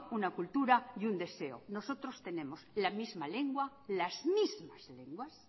una cultura y un deseo nosotros tenemos la misma lengua las mismas lenguas